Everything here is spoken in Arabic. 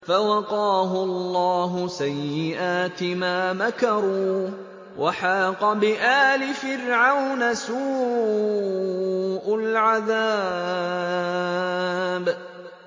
فَوَقَاهُ اللَّهُ سَيِّئَاتِ مَا مَكَرُوا ۖ وَحَاقَ بِآلِ فِرْعَوْنَ سُوءُ الْعَذَابِ